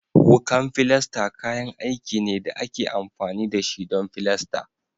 Wukan filasta kayan aiki ne da ake amfani da shi don filasta